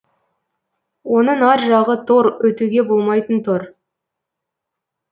оның ар жағы тор өтуге болмайтын тор